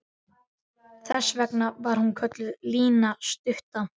Þess vegna var hún kölluð Lína stutta.